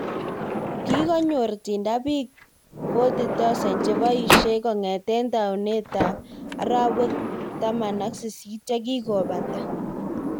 Kikonyor Tinder piik 40,000 chepoishei kongetei taunet arawek 18 chekikopata